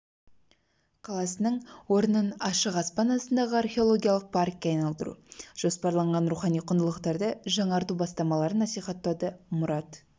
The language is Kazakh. қаласының орнын ашық аспан астындағы археологиялық паркке айналдыру жоспарланған рухани құндылықтарды жанғырту бастамаларын насихаттауды мұрат